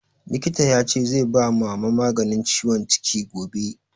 Likita ya ce zai ba Mama maganin ciwon ciki gobe